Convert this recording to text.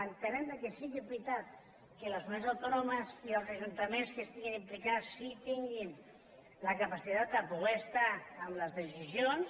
entenem que sí que és veritat que les comunitats autònomes i els ajuntaments que hi estiguin implicats sí que tinguin la capacitat de poder estar en les decisions